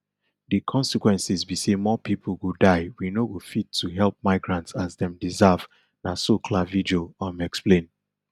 di consequences be say more pipo go die we no go fit to help migrants as dem deserve na so clavijo um explain